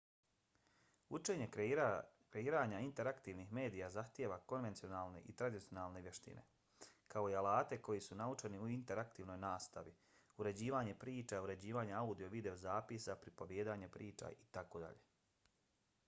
učenje kreiranja interaktivnih medija zahtijeva konvencionalne i tradicionalne vještine kao i alate koji su naučeni u interaktivnoj nastavi uređivanje priča uređivanje audio i videozapisa pripovijedanje priča itd.